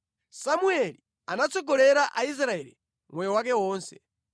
Samueli anatsogolera Aisraeli moyo wake wonse.